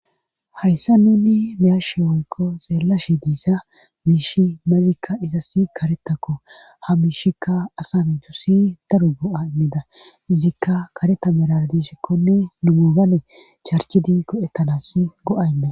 hayssa neni miyaashe oykko zeellashi diissa miishi marikka izassi karetakko ha miishikka asami duussi daro go7a immida izikka kareta merar diishikkonne numubane charchidi go7ettanas go7aynma